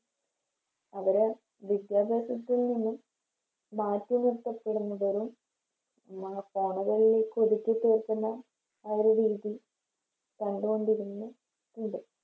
അവിടെ വിദ്യാഭ്യാസത്തിൽ നിന്നും മാറ്റി നിർത്തപ്പെടുന്നതൊരു ചേർക്കുന്ന ആ ഒരു രീതി കണ്ടുകൊണ്ടിരുന്ന ഉണ്ട്